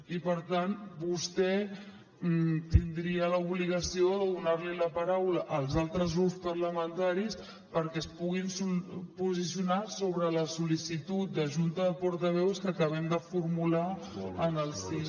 i per tant vostè tindria l’obligació de donar la paraula als altres grups parlamentaris perquè es puguin posicionar sobre la sol·licitud de junta de portaveus que acabem de formular en el si del parlament